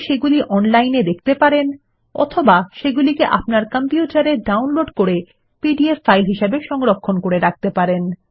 সেগুলি অনলাইনে দেখতে পারেন অথবা সেগুলিকে আপনার কম্পিউটারে ডাউনলোড করে পিডিএফ ফাইল হিসাবে সংরক্ষণ করে রাখতে পারেন